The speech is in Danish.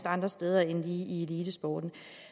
andre steder end lige i elitesporten